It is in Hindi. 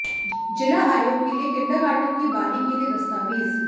जिला आयोग के लिए किंडरगार्टन की बारी के लिए दस्तावेज़